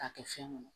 K'a kɛ fɛn kɔnɔ